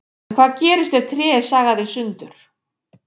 En hvað gerist ef tré er sagað í sundur?